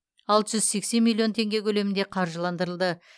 алты жүз сексен миллион тенге көлемінде қаржыландырылды